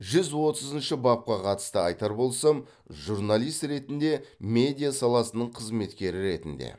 жүз отызыншы бапқа қатысты айтар болсам журналист ретінде медиа саласының қызметкері ретінде